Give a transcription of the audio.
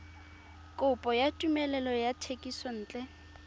kopo ya tumelelo ya thekisontle